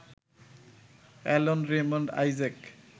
Alan Raymond Isaac